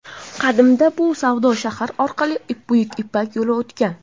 Qadimda bu savdo shahri orqali Buyuk ipak yo‘li o‘tgan.